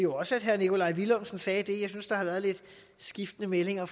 også at herre nikolaj villumsen sagde det jeg synes der har været lidt skiftende meldinger